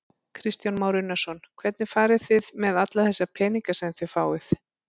Kristján Már Unnarsson: Hvernig farið þið með alla þessa peninga sem þið fáið?